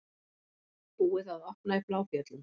Búið að opna í Bláfjöllum